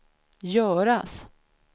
göras